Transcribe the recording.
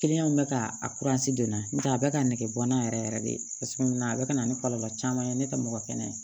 bɛ ka a don n'a tɛ a bɛ ka nege bɔ n na yɛrɛ yɛrɛ de cogo min na a bɛ ka na ni kɔlɔlɔ caman ye ne tɛ mɔgɔ kɛnɛ ye